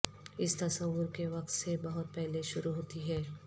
اس تصور کے وقت سے بہت پہلے شروع ہوتی ہے